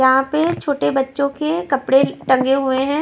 यहां पे छोटे बच्चों के कपड़े टंगे हुए हैं।